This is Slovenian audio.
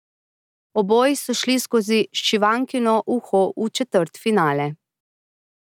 Oboji so pa šli skozi šivankino uho v četrtfinale.